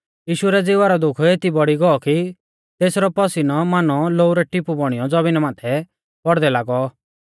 यीशु भौरी दुखी हुईयौ प्राथना कौरदै लागौ यीशु रै ज़िवा रौ दुःख एती बौड़ी गौ कि तेसरौ पसिनौ मानौ लोऊ रै टिपु बौणीयौ ज़मीना माथै पौड़दै लागौ